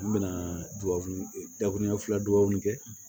N bɛna dugawu dakurunya fila dubaw kɛ